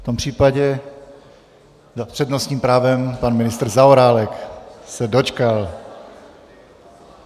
V tom případě s přednostním právem pan ministr Zaorálek se dočkal.